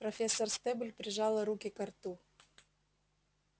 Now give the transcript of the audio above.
профессор стебль прижала руки ко рту